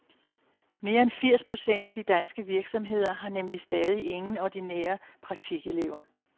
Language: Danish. Mere end firs procent af de danske virksomheder har nemlig stadig ingen ordinære praktikelever.